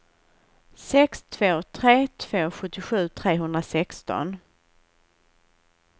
sex två tre två sjuttiosju trehundrasexton